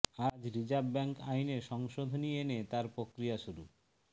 আজ reserve bank আইনে সংশোধনী এনে তার প্রক্রিয়া শুরু